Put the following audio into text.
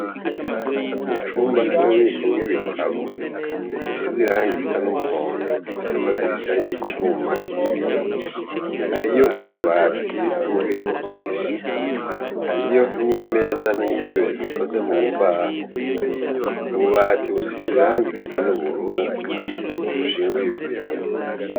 Mu cumba c'ububiko bw'ibitabo gisizirangi risa n'umuhondo gifise amadirisha y'icuma y'ibiyo hariyo ububati bw'ububiko bwinshi hariyo n'imeza n'intebe bikoze mu mbaho ububati busizirangirisa n'ubururu ushinguye ibitabo.